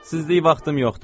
Sizlik vaxtım yoxdur.